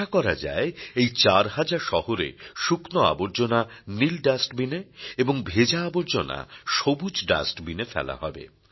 আশা করা যায় এই চার হাজার শহরে শুকনো আবর্জনা নীল ডাস্টবিন এ এবং ভেজা আবর্জনা সবুজ ডাস্টবিন এ ফেলা হবে